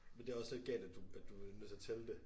Men det også lidt galt at du at du bliver nødt til at tælle det